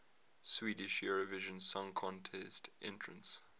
swedish eurovision song contest entrants